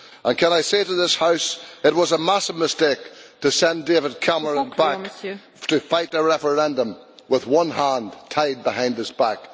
Can I say to this House that it was a massive mistake to send David Cameron back to fight the referendum with one hand tied behind his back?